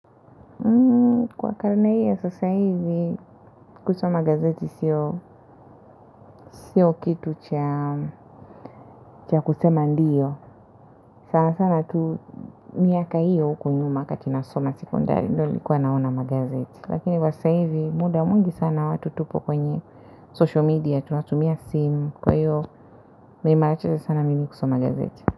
Kwa karana hii ya sasa hivi kusoma gazeti sio sio kitu cha cha kusema ndiyo sana sana tu miaka hiyo huku nyuma wakati nasoma sekondari ndo nilikuwa naona magazeti lakini kwa sasa hivi muda mwingi sana watu tupo kwenye social media tunatumia simu kwaiyo meimarachese sana mimi kusoma gazeti.